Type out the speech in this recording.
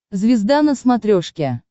звезда на смотрешке